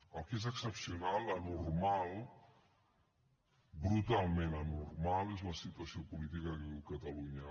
el que és excepcional anormal brutalment anormal és la situació política que viu catalunya